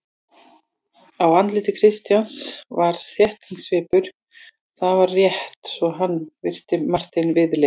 Á andliti Christians var þóttasvipur: það var rétt svo hann virti Martein viðlits.